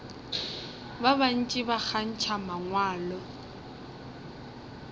ba bantši ba kgantšha mangwalo